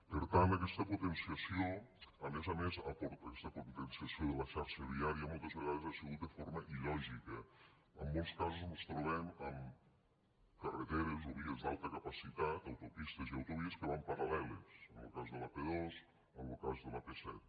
per tant aquesta potenciació a més a més aquesta potenciació de la xarxa viària moltes vegades ha sigut de forma il·lògica en molts casos mos trobem amb carreteres o vies d’alta capacitat autopistes i autovies que van paral·leles en lo cas de l’ap dos en lo cas de l’ap set